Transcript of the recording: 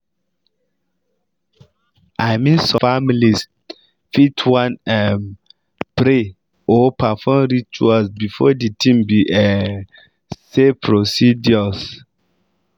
i mean some families fit wan um pray or perform rituals before de tin be um say procedures.